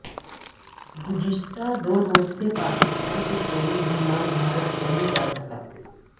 گزشتہ دو روز سے پاکستان سے کوئی بھی مال بھارت نہیں جاسکا